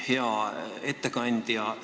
Hea ettekandja!